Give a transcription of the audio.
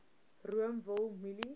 room wol mielies